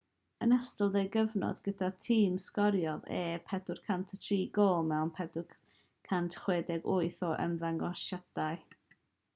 yn ystod ei gyfnod gyda'r tîm sgoriodd e 403 gôl mewn 468 o ymddangosiadau